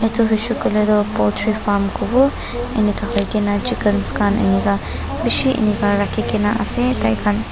edu hoishey koilae toh poultry farm kowo enika hoikena chickens khan enika bishi enika rakhikaena ase tai khan.